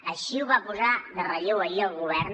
així ho va posar en relleu ahir el govern